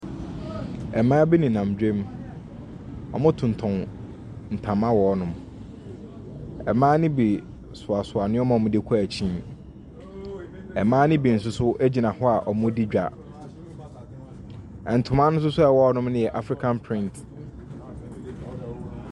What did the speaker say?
Ɛmbaa bi nenam dwom. Ɔmo totɔn ntoma wɔ hɔ nom. Ɛmbaa ne bi soasoa neɛma ɔmo de kɔ ekyi. Ɛmbaa ne bi soso egyina hɔ a ɔmo di dwa. Ɛntoma soso ɛwɔ hɔ no yɛ afrikan print.